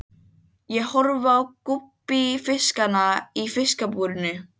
Ég horfi á gúbbífiskana í fiskabúrinu.